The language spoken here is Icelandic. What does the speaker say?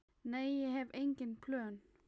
Nei, ég hef engin plön.